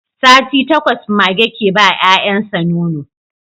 Sati takwas mage ke ba 'ya'yan sa nono